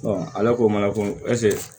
ala ko mana ko ɛsike